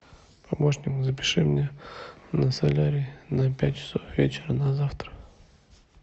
помощник запиши меня на солярий на пять часов вечера на завтра